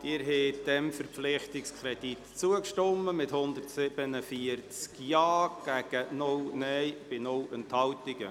Sie haben diesem Verpflichtungskredit zugestimmt, mit 147 Ja- gegen 0 Nein-Stimmen bei 0 Enthaltungen.